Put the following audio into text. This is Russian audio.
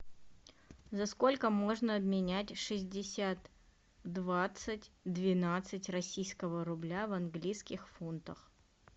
за сколько можно обменять шестьдесят двадцать двенадцать российского рубля в английских фунтах